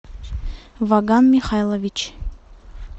ваган михайлович